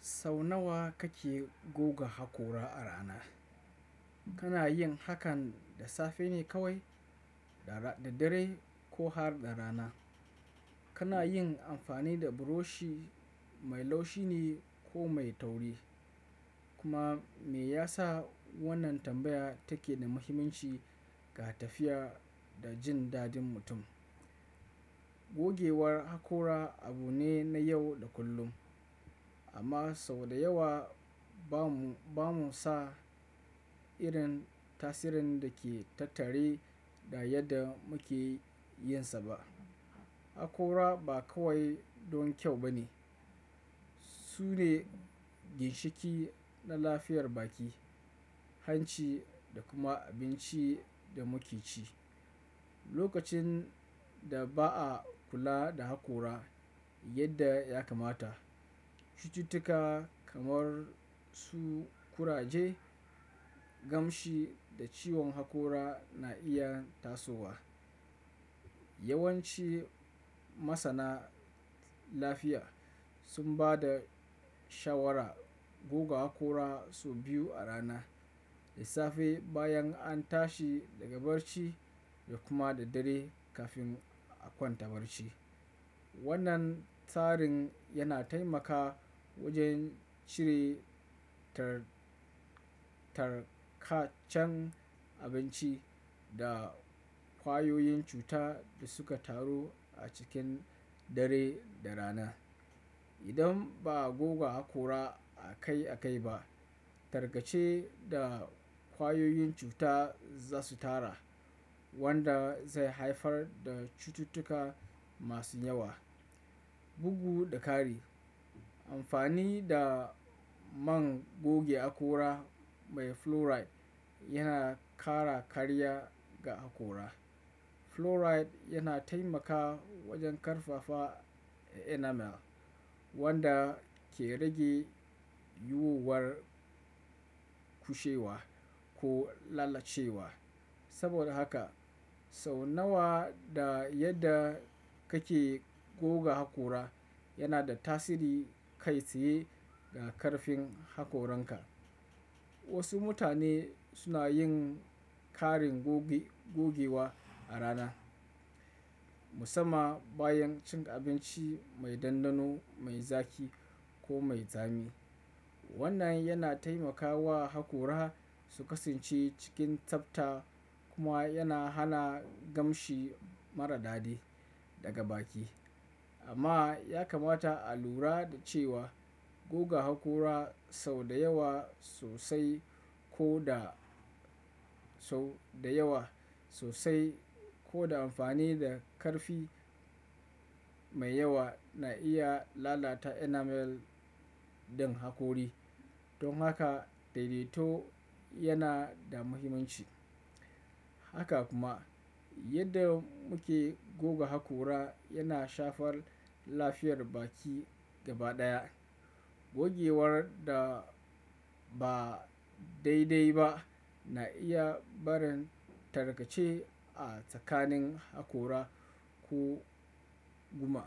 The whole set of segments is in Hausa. Sau nawa kake goge haƙora a rana? Kana yin hakan da safe ne kawai, da dare ko har da rana? Kana yin amfani da buroshi mai laushi ne ko mai tauri? Kuma me yasa wannan tambaya take da muhimmanci ga lafiya da jin daɗin mutum? Gogewar haƙora abu ne na yau da kullum, amma sau da yawa ba mu san irin tasirin da ke tattare da yadda muke yinsa ba. Haƙora ba kawai don kyau ba ne. Su ne ginshiƙi na lafiyar baki, hanci da kuma abinci da muke ci. Lokacin da ba a kula da haƙora yadda ya kamata, cututtuka kamar su kuraje, gamshi da ciwon haƙora na iya tasowa. Yawanci masana lafiya sun ba da shawaran goge haƙora sau biyu a rana, da safe bayan an tashi daga barci da kuma da dare kafin a kwanta barci. Wannan tsarin yana taimakawa wajen cire tarkacen abinci da kwayoyin cuta da suka taru a cikin dare da rana. Idan ba a goge haƙora akai-akai ba, tarkace da ƙwayoyin cuta za su taru, wanda zai haifar da cututtuka masu yawa, bugu da kari. Amfani da man goge haƙora mai fluoride yana ƙara kariya ga haƙora. Fluoride yana taimakawa wajen ƙarfafa enamel, wanda ke rage yiwuwar kushewa ko lalacewa. Saboda haka sau nawa da yadda kake goge haƙora yana da tasiri kai tsaye ga karfin haƙoranka. Wasu mutane suna yin ƙarin gogewa a rana, musamman bayan cin abinci mai ɗanɗano, mai zaƙi ko mai tsami. Wannan yana taimakawa haƙora su kasance cikin tsafta kuma yana hana ƙamshi mara daɗi daga baki. Amma ya kamata a lura da cewa goga haƙora sau da yawa sosai ko da amfani da ƙarfi mai yawa na iya lalata enamel ɗin haƙori. Don haka, daidaito yana da muhimmanci. Haka kuma yadda muke goge haƙora yana shafar lafiyar baki gaba ɗaya. Gogewar da ba daidai ba na iya barin tarkace a tsakanin haƙora ko gum.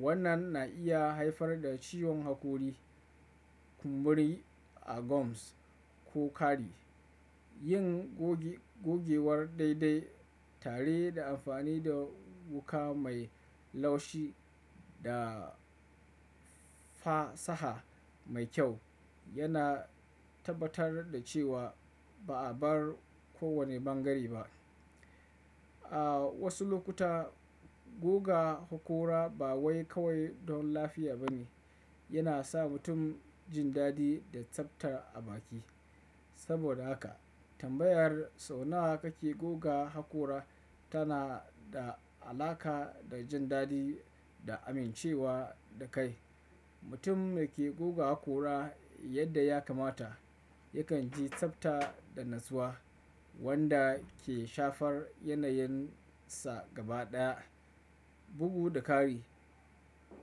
Wannan na iya haifar da ciwon haƙori, kumburi a gums ko kari. Yin gogewar daidai tare da amfani da wuka mai laushi da fasaha mai kyau yana tabbatar da cewa ba a bar kowane bangare ba. A wasu lokuta goge haƙora ba wai kawai don lafiya ba ne, yana sa mutum jin daɗi da tsabta a baki. Saboda haka tambayar sau nawa kake goga haƙora tana da alaƙa da jin daɗi da amincewa da kai. Mutum da ke goge haƙora yadda ya kamata yakan ji tsafta da natsuwa wanda ke shafar yanayin sa gaba ɗaya, bugu da kari.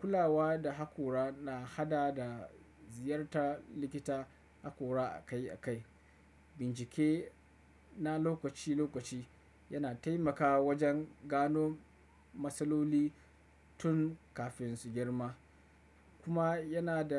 Kulawa da haƙora na hada da ziyartar likitan haƙora akai akai. Bincike na lokaci lokaci yana taimakawa wajen gano matsaloli tun kafin su girma kuma yana da.